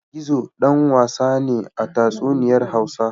Gizo ɗan wasa ne a tatsuniyar Hausa.